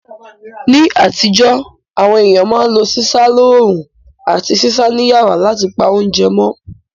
Ní àtíjó, àwon ééyàn ma n lo sísá loorún àti sísá ni yàrá látipa ounje mó